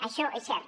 això és cert